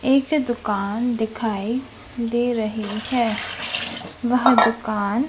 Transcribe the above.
एक दुकान दिखाई दे रही है वह दुकान--